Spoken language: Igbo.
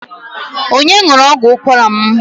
Onye ṅụrụ ọgwụ ụkwara m?